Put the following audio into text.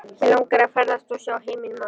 Mig langar að ferðast og sjá heiminn maður.